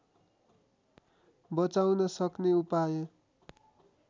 बचाउन सक्ने उपाय